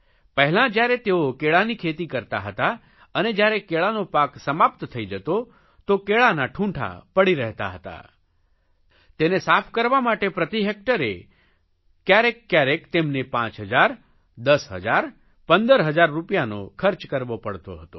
પહેલાં જયારે તેઓ કેળાની ખેતી કરતા હતા અને જયારે કેળાનો પાક સમાપ્ત થઇ જતો તો કેળાનાં ઠૂંઠા પડી રહેતા હતા તેને સાફ કરવા માટે પ્રતિ હેકટરે કયારેક કયારેક તેમને પાંચ હજાર દસ હજાર પંદર હજાર રૂપિયાનો ખર્ચ કરવો પડતો હતો